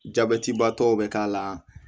Jabɛtibatɔw bɛ k'a la